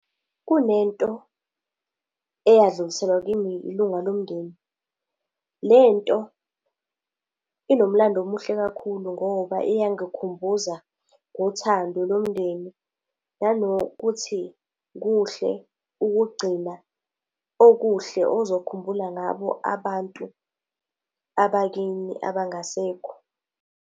Kunento eyadluliselwa kimi ilunga lomndeni. Lento inomlando omuhle kakhulu ngoba iyangikhumbuza ngothando lomndeni, nanokuthi kuhle ukugcina okuhle ozokhumbula ngabo abantu abakini abangasekho.